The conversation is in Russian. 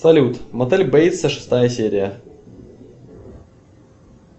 салют мотель бейтса шестая серия